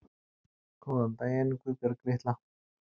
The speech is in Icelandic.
Góðan daginn, Guðbjörg litla